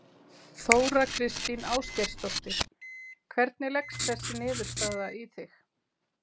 Þóra Kristín Ásgeirsdóttir: Hvernig leggst þessi niðurstaða í þig?